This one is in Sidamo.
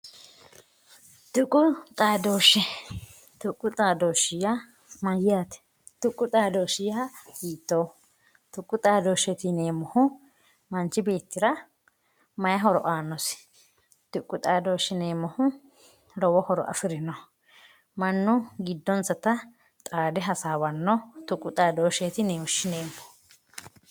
Tuqu xaadoshe, tuqu xaadoshe yaa mayyate ,tuqu xaadoshi yaa hiittoho, tuqu xaadosheti yineemmohu manchu beettira maa aanosi, lowo horo afirinoho mannu giddonsatta xaade hasaawano doogo xaadosheho yineemmo.